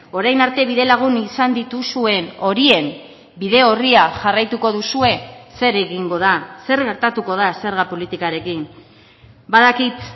orain arte bidelagun izan dituzuen horien bide orria jarraituko duzue zer egingo da zer gertatuko da zerga politikarekin badakit